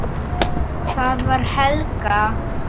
Það var Helga!